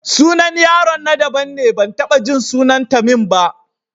Sunan yaron na daban ne, ban taɓa jin sunan Tamim ba.